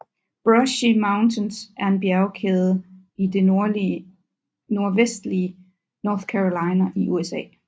Brushy Mountains er en bjergkæde i det nordvestlige North Carolina i USA